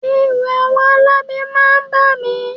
Ẹ̀rù àwọn alábẹ máa ń bà mí